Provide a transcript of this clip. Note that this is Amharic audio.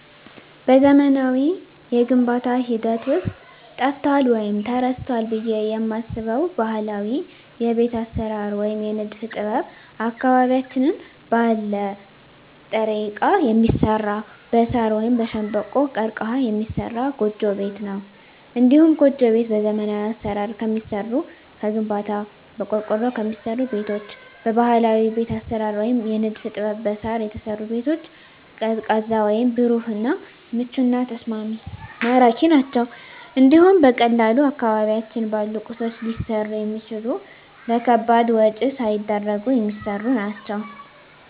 በዘመናዊው የግንባታ ሂደት ውስጥ ጠፍቷል ወይም ተረስቷል ብየ የማስበው ባህላዊ የቤት አሰራር ወይም የንድፍ ጥበብ አካባቢያችን ባለ ጥሬ እቃ የሚሰራ በሳር ወይም በሸንበቆ(ቀርቀሀ) የሚሰራ ጎጆ ቤት ነው። እንዲሁም ጎጆ ቤት በዘመናዊ አሰራር ከሚሰሩ ከግንባታ፣ በቆርቆሮ ከሚሰሩ ቤቶች በባህላዊ ቤት አሰራር ወይም የንድፍ ጥበብ በሳር የተሰሩ ቤቶች ቀዝቃዛ ወይም ብሩህ እና ምቹና ተስማሚ ማራኪ ናቸው እንዲሁም በቀላሉ አካባቢያችን ባሉ ቁሶች ሊሰሩ የሚችሉ ለከባድ ወጭ ሳይዳርጉ የሚሰሩ ናቸው።